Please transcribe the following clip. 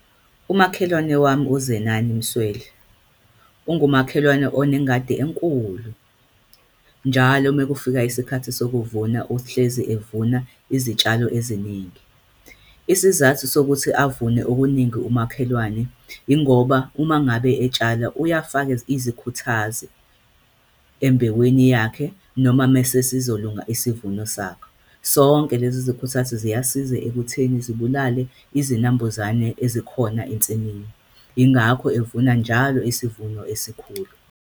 Umakhelwane wami uZenani Msweli, ungumakhelwane onengadi enkulu. Njalo mekufika isikhathi sokuvuna uhlezi evuna izitshalo eziningi. Isizathu sokuthi avune okuningi umakhelwane, yingoba uma ngabe etshala uyafake izikhuthazo embewini yakhe, noma masesizolunga isivuno sakhe. Sonke lezi zikhuthazi ziyasiza ekutheni zibulale izinambuzane ezikhona ensimini, yingakho evuna njalo isivuno esikhulu.